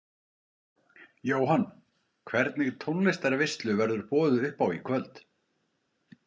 Jóhann: Hvernig tónlistarveislu verður boðið upp á í kvöld?